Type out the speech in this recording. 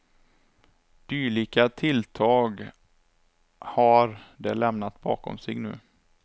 Dylika tilltag har de lämnat bakom sig nu.